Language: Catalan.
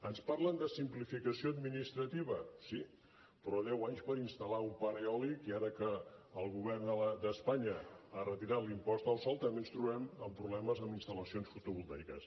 ens parlen de simplificació administrativa sí però deu anys per instal·lar un parc eòlic i ara que el govern d’espanya ha retirat l’impost al sol també ens trobem amb problemes amb instal·lacions fotovoltaiques